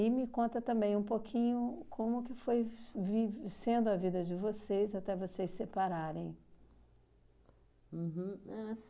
me conta também um pouquinho como que foi vi sendo a vida de vocês até vocês separarem. Uhum. É